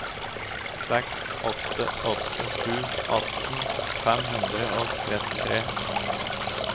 seks åtte åtte sju atten fem hundre og trettitre